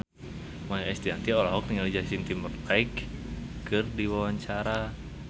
Maia Estianty olohok ningali Justin Timberlake keur diwawancara